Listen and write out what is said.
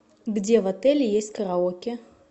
где в отеле есть караоке